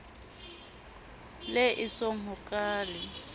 le esong ho ka le